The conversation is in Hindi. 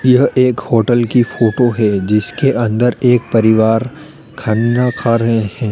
यह एक होटल की फोटो है जिसके अंदर एक परिवार खन्ना खा रहे हैं।